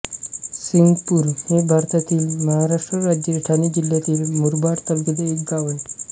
सिंगपूर हे भारतातील महाराष्ट्र राज्यातील ठाणे जिल्ह्यातील मुरबाड तालुक्यातील एक गाव आहे